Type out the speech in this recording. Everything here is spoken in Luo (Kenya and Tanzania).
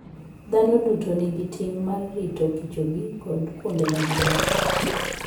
Dhano duto nigi ting' mar ritokichogi kod kuonde ma gidakie.